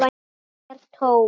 Kirkjan er tóm.